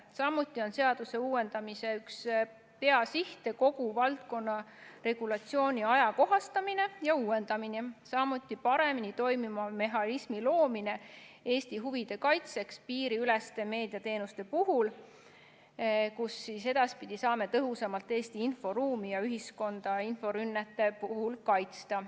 Samuti on seaduse uuendamise üks peasiht kogu valdkonna regulatsiooni ajakohastamine ja uuendamine, aga ka paremini toimiva mehhanismi loomine Eesti huvide kaitseks piiriüleste meediateenuste puhul, kus edaspidi saame tõhusamalt Eesti inforuumi ja ühiskonda inforünnete puhul kaitsta.